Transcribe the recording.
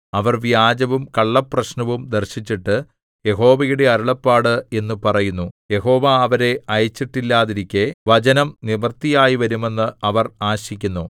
അവർ വ്യാജവും കള്ളപ്രശ്നവും ദർശിച്ചിട്ട് യഹോവയുടെ അരുളപ്പാട് എന്നു പറയുന്നു യഹോവ അവരെ അയച്ചിട്ടില്ലാതിരിക്കെ വചനം നിവൃത്തിയായ്‌വരുമെന്ന് അവർ ആശിക്കുന്നു